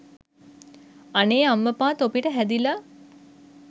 අනේ අම්මපා තොපිට හැදිලා